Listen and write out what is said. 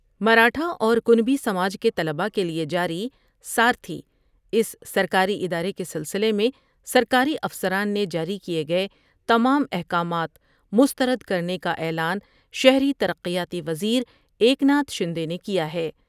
مراٹھااور کنی سما ج کے طلباء کے لئے جاریساتھی اس سرکاری ادارے کے سلسلے میں سرکاری افسران نے جاری کئے گئے تمام احکامات مسترد کرنے کا اعلان شہری ترقیاتی و زیرا یکتا تھ شندے نے کیا ہے ۔